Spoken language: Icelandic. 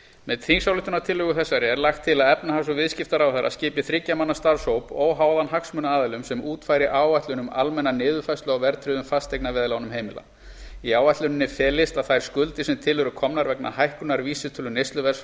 með þingsályktunartillögu þessari er lagt til að efnahags og viðskiptaráðherra skipi þriggja manna starfshóp óháðan hagsmunaaðilum sem útfæri áætlun um almenna niðurfærslu á verðtryggðum fasteignaveðlánum heimila í áætluninni felist að þær skuldir sem til eru komnar vegna hækkunar vísitölu neysluverðs